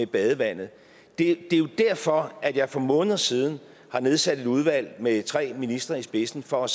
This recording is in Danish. badevandet det er jo derfor at jeg for måneder siden har nedsat et udvalg med tre ministre i spidsen for